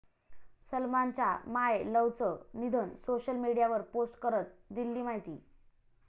सलमानच्या माय लव्हचं निधन, सोशल मीडियावर पोस्ट करत दिली माहिती